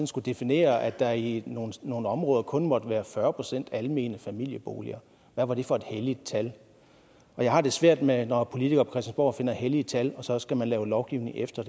skulle definere at der i nogle nogle områder kun måtte være fyrre procent almene familieboliger hvad var det for et helligt tal jeg har det svært med det når politikere på christiansborg finder hellige tal og så skal man lave lovgivning efter